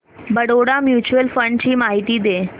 Baroda mutual fund ची माहिती दे